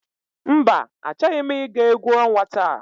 Mba achọghị m ị ga egwu ọnwa taa.